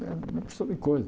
Né uma porção de coisa.